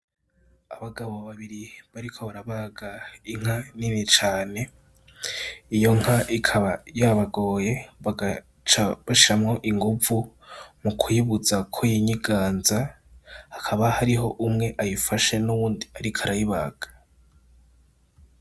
Abagabo babiri bariko barabaga inka nini cane, iyo nka ikaba yabagoye bagaca bashiramwo inguvu mu kuyibuza ko yinyiganza, hakaba hariho umwe ayifashe nuwundi ariko arayibaga.